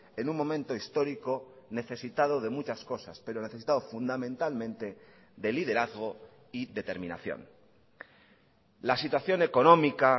en un momento histórico necesitado de muchas cosas pero necesitado fundamentalmente de liderazgo y determinación la situación económica